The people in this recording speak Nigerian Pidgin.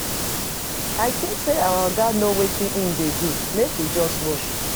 I think say our Oga no wetin im dey do. Make we just watch.